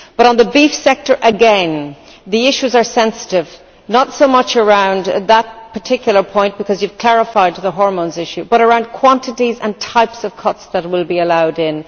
But on the beef sector again, the issues are sensitive, not so much around that particular point, because you have clarified the hormones issue, but around quantities and types of cuts that will be allowed in.